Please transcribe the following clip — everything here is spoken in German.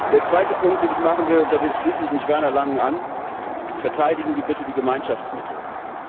Der zweite Punkt, den ich machen will und da schließe ich mich Werner Langen an Verteidigen Sie bitte die Gemeinschaftsmethode!